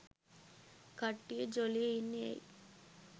කට්ටිය ජොලියෙ ඉන්නෙ ඇයි?